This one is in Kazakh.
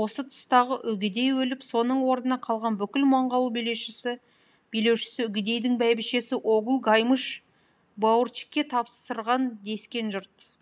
осы тұстағы үгедей өліп соның орнына қалған бүкіл монғол билеушісі үгедейдің бәйбішесі огул гаймыш баурчикке тапсырған дескен жұрт